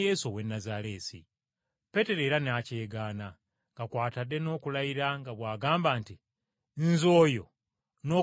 Peetero era n’akyegaana, nga kw’atadde n’okulayira nga bw’agamba nti, “Nze oyo n’okumumanya simumanyi.”